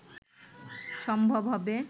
সম্ভব হবে